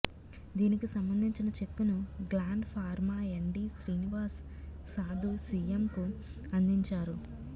దీనికి సంబంధించిన చెక్కును Gland Pharma MD Srinivas Sadu సిఎంకు అందించారు